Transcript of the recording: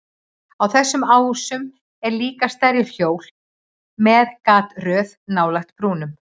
Á þessum ásum eru líka stærri hjól með gataröð nálægt brúnum.